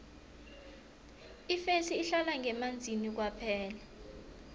ifesi ihlala ngemanzini kwaphela